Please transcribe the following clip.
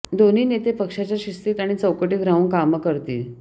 दोन्ही नेते पक्षाच्या शिस्तीत आणि चौकटीत राहून कामं करतील